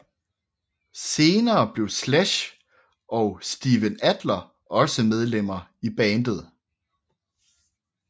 Senere blev Slash og Steven Adler også medlemmer i bandet